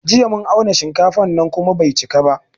Jiya mun auna shinkafan nan kuma bai cika ba